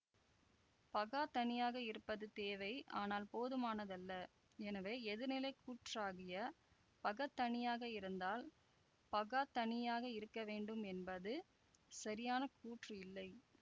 பகாத்தனியாக இருப்பது தேவை ஆனால் போதுமானதல்ல எனவே எதிர்நிலை கூற்றாகிய பகத்தனியாக இருந்தால் பகாத்தனியாக இருக்கவேண்டும் என்பது சரியான கூற்று இல்லை